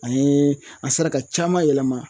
An ye an sera ka caman yɛlɛma